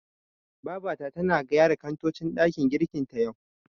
Babata tana gyara kantocin ɗakin girkin ta, yau.